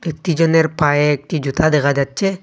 দুজনের পায়ে একটি জুতা দেখা যাচ্ছে।